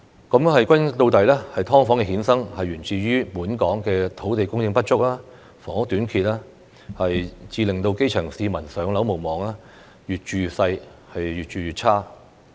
歸根到底，"劏房"的衍生，源自於本港土地供應不足、房屋短缺，致令基層市民"上樓"無望，越住越細、越住越差。